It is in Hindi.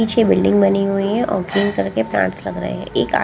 पीछे बिल्डिंग बनी हुई हैं और क्लीन करके प्लांट्स लग रहे हैं एक --